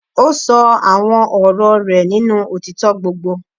Ó ṣọ àwọn ọ̀rọ̀ rẹ̀ nínú òtítọ́ gbogbo.